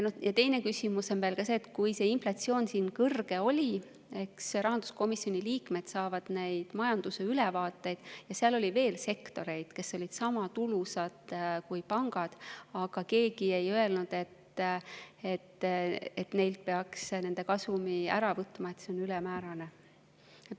Üks küsimus on veel see, et kui inflatsioon kõrge oli – eks rahanduskomisjoni liikmed saavad neid majanduse ülevaateid –, siis oli veel sektoreid, mis olid sama tulusad kui pangandus, aga keegi ei öelnud, et neilt peaks nende kasumi ära võtma, et see on ülemäärane.